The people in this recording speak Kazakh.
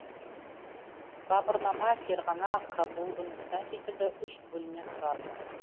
бабырнама ферғана кабул үндістан секілді үш бөлімнен тұрады